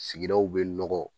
Sigidaw bɛ nɔgɔ